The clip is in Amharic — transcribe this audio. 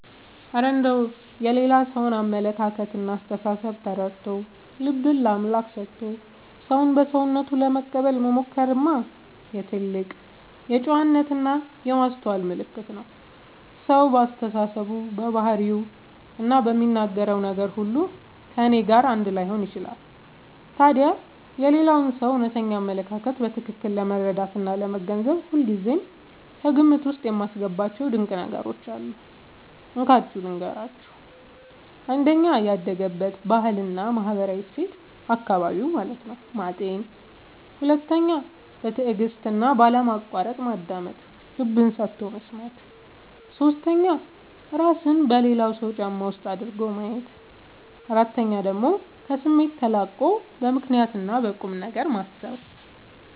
እረ እንደው የሌላ ሰውን አመለካከትና አስተሳሰብ ተረድቶ፣ ልብን ለአምላክ ሰጥቶ ሰውን በሰውነቱ ለመቀበል መሞከርማ የትልቅ ጨዋነትና የማስተዋል ምልክት ነው! ሰው በአስተሳሰቡ፣ በባህሪውና በሚናገረው ነገር ሁሉ ከእኔ ጋር አንድ ላይሆን ይችላል። ታዲያ የሌላውን ሰው እውነተኛ አመለካከት በትክክል ለመረዳትና ለመገንዘብ ሁልጊዜ ከግምት ውስጥ የማስገባቸው ድንቅ ነገሮች አሉ፤ እንካችሁ ልንገራችሁ - 1. ያደገበትን ባህልና ማህበራዊ እሴት (አካባቢውን) ማጤን 2. በትዕግስትና ባለማቋረጥ ማዳመጥ (ልብ ሰጥቶ መስማት) 3. እራስን በሌላው ሰው ጫማ ውስጥ አድርጎ ማየት 4. ከስሜት ተላቆ በምክንያትና በቁምነገር ማሰብ